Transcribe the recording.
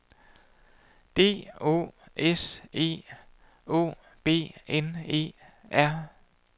D Å S E Å B N E R